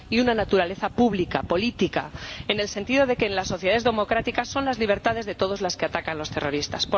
y una naturaleza pública, política, en el sentido de que en las sociedades democráticas son las libertades de todos las que atacan los terroristas.